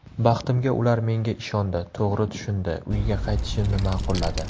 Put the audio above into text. Baxtimga ular menga ishondi, to‘g‘ri tushundi, uyga qaytishimni ma’qulladi.